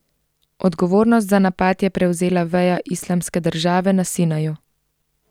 Odgovornost za napad je prevzela veja Islamske države na Sinaju.